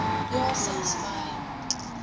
ja selfs my